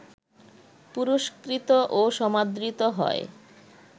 পুরস্কৃত ও সমাদৃত হয়